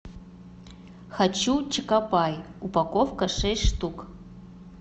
хочу чокопай упаковка шесть штук